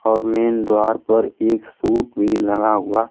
और मेन द्वार पर एक सूट भी लगा हुआ--